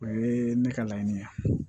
O ye ne ka laɲini ye